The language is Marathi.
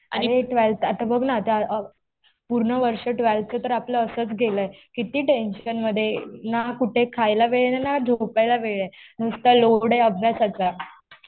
अरे ट्वेल्थ आता बघ ना, पूर्ण वर्ष ट्वेल्थचं तर आपलं असंच गेलंय. किती टेंशन मध्ये. ना कुठे खायला वेळ आहे. ना कुठे झोपायला वेळ आहे. नुसता लोड आहे अभ्यासाचा.